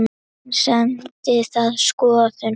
En stenst það skoðun?